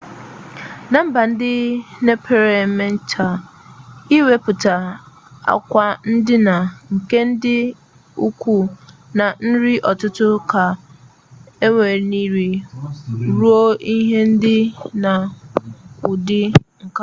na mba ndi mepere-emep taa iweputa akwa-ndina nke ndi-ukwu na nri-ututu ka eweliri ruo ihe di na udi-nka